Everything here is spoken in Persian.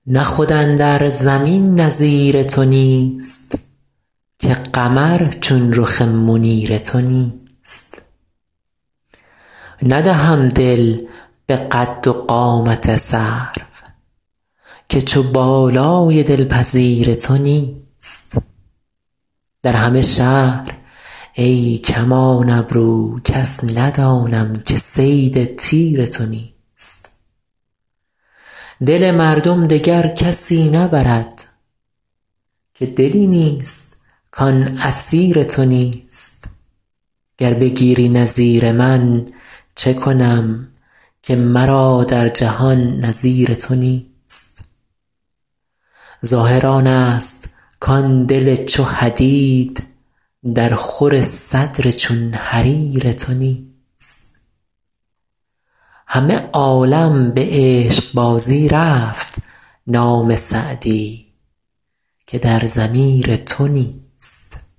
نه خود اندر زمین نظیر تو نیست که قمر چون رخ منیر تو نیست ندهم دل به قد و قامت سرو که چو بالای دلپذیر تو نیست در همه شهر ای کمان ابرو کس ندانم که صید تیر تو نیست دل مردم دگر کسی نبرد که دلی نیست کان اسیر تو نیست گر بگیری نظیر من چه کنم که مرا در جهان نظیر تو نیست ظاهر آنست کان دل چو حدید درخور صدر چون حریر تو نیست همه عالم به عشقبازی رفت نام سعدی که در ضمیر تو نیست